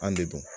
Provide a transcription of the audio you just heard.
An debu